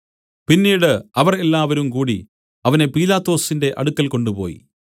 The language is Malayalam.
പിന്നീട് അവർ എല്ലാവരുംകൂടി അവനെ പീലാത്തോസിന്റെ അടുക്കൽ കൊണ്ടുപോയി